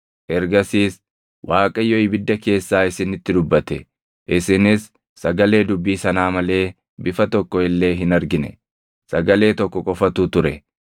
Ergasiis Waaqayyo ibidda keessaa isinitti dubbate. Isinis sagalee dubbii sanaa malee bifa tokko illee hin argine; sagalee tokko qofatu ture.